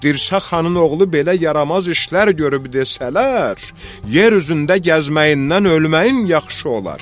Dirsə xanın oğlu belə yaramaz işlər görüb desələr, yer üzündə gəzməyindən ölməyin yaxşı olar.